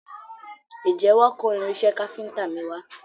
Ǹjẹ́ wọ́n kó irinṣẹ́ káfíntà mi wa?